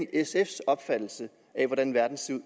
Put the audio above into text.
sfs opfattelse af hvordan verden ser